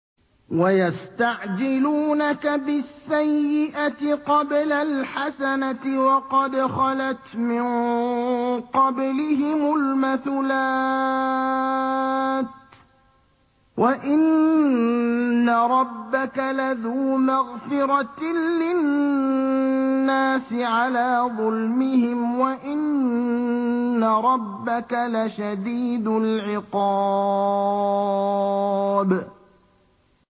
وَيَسْتَعْجِلُونَكَ بِالسَّيِّئَةِ قَبْلَ الْحَسَنَةِ وَقَدْ خَلَتْ مِن قَبْلِهِمُ الْمَثُلَاتُ ۗ وَإِنَّ رَبَّكَ لَذُو مَغْفِرَةٍ لِّلنَّاسِ عَلَىٰ ظُلْمِهِمْ ۖ وَإِنَّ رَبَّكَ لَشَدِيدُ الْعِقَابِ